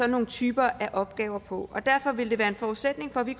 nogle typer af opgaver på derfor vil det være en forudsætning for at vi